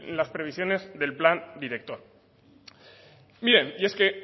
las previsiones del plan director y es que